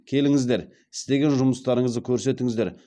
келіңіздер істеген жұмыстарыңызды көрсетіңіздер